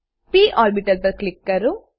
પ ઓર્બીટલ પર ક્લિક કરો